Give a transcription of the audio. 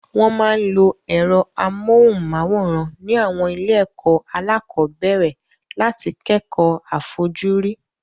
Wọ́n máa ń lo ẹ̀rọ amóhùnmáwòrán ní àwọn ilé-ẹ̀kọ́ alákọ̀ọ́bẹ̀rẹ̀ láti kẹ́kọ̀ọ́ àfojúrí.